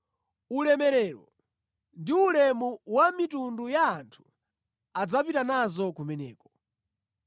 Ulemerero ndi ulemu wa mitundu ya anthu adzapita nazo kumeneko.